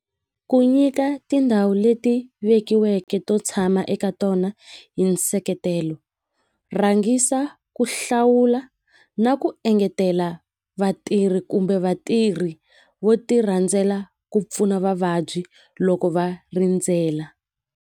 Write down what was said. Ku nyika tindhawu leti vekiweke to tshama eka tona hi nseketelo rhangisa ku hlawula na ku engetela vatirhi kumbe vatirhi vo ti rhandzela ku pfuna vavabyi loko va rindzela.